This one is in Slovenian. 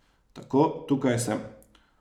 Tako, tukaj sem.